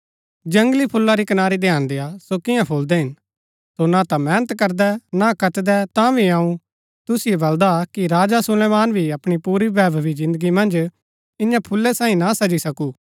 जंगली फूला री कनारी ध्यान देय्आ सो कियां फूलदै हिन सो ना ता मेहनत करदै ना कतदै ता भी अऊँ तुसिओ बलदा कि राजा सुलेमान भी अपणी पुरी वैभवी जिन्दगी मन्ज ईयां फूला सैईं ना सजी सकु